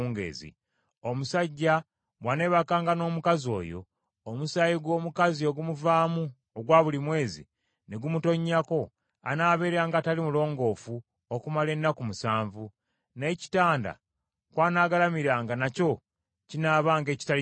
Omusajja bw’aneebakanga n’omukazi oyo, omusaayi gw’omukazi ogumuvaamu ogwa buli mwezi ne gumutonnyako, anaabeeranga atali mulongoofu okumala ennaku musanvu; n’ekitanda kw’anaagalamiranga nakyo kinaabanga ekitali kirongoofu.